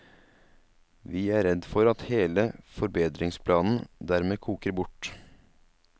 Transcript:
Vi er redd for at hele forbedringsplanen dermed koker bort.